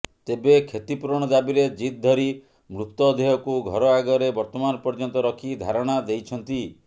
ତେବେ କ୍ଷତି ପୁରଣ ଦାବୀରେ ଜିଦ୍ ଧରି ମୃତଦେହକୁ ଘର ଆଗରେ ବର୍ତ୍ତମାନ ପର୍ଯ୍ୟନ୍ତ ରଖି ଧାରଣା ଦେଇଛନ୍ତି